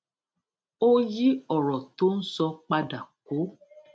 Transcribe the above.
ó yí òrò tó ń sọ padà kó